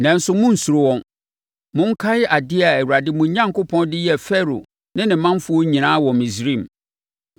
Nanso, monnsuro wɔn. Monkae adeɛ a Awurade, mo Onyankopɔn, de yɛɛ Farao ne ne manfoɔ nyinaa wɔ Misraim.